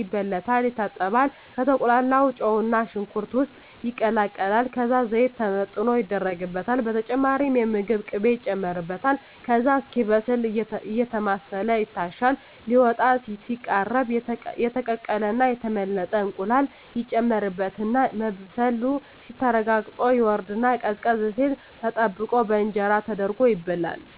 ይበለታል፣ ይታጠባል፣ ከተቁላላው ጨውና ሽንኩርት ውስጥ ይቀላቀላል ከዛ ዘይት ተመጥኖ ይደረግበታል በተጨማሪም የምግብ ቅቤ ይጨመርበታል ከዛ እስኪበስል አየተማሰለ ይታሻል ሊወጣ ሲቃረብ የተቀቀለና የተመለጠ እንቁላል ይጨመርበትና መብሰሉ ተረጋግጦ ይወርድና ቀዝቀዝ ሲል ተጠብቆ በእንጀራ ተደርጎ ይበላል።